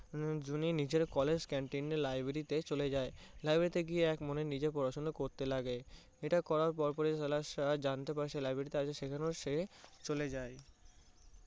জুনি নিজের college, canteen library তে চলে যায়। library তে গিয়ে নিজে এক মনে পড়াশোনা করতে থাকে। এটা করার পরপরই সাহেব জানতে পারে সে library তে আছে সেইজন্য সে চলে যায়